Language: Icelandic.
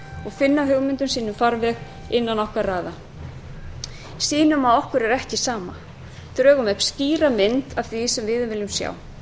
og finna hugmyndum sínum farveg innan okkar raða sýnum að okkur er ekki sama drögum upp skýra mynd af því sem við viljum sjá